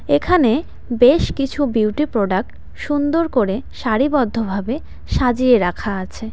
এখানে বেশ কিছু বিউটি প্রোডাক্ট সুন্দর করে সারিবদ্ধ ভাবে সাজিয়ে রাখা আছে।